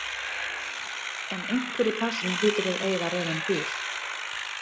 En einhver í plássinu hlýtur að eiga rauðan bíl.